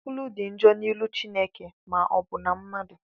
Nkwulu dị njọ n'ihu Chineke ma ọbụna mmadụ.